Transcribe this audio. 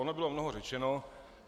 Ono bylo mnoho řečeno.